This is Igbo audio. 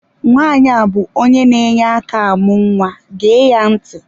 Nwaanyi a bụ onye na-enye aka amụ nwa gee ya ntị!